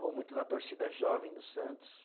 Vou muito na torcida jovem do Santos.